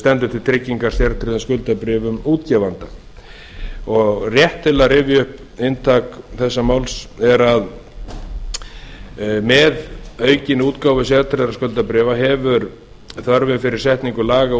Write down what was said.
stendur til tryggingar sértryggðum skuldabréfum útgefanda rétt til að rifja upp að inntak þessa máls er að með aukinni útgáfu sértryggðra skuldabréfa hefur þörfin fyrir setningu laga og